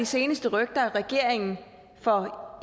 seneste rygter at regeringen for